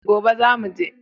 Gobe zamu je